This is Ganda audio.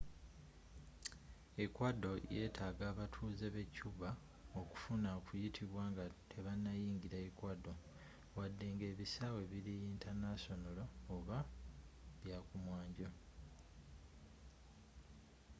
ecuador yetaaga abatuuze be cuba okufuna okuyitibwa nga tebanayingira ecuador wadenga ebisaawe biri yintanasonolo oba byakumwanjo